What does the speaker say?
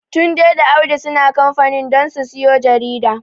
Tunde da Audu suna kamfanin don su siyo jarida.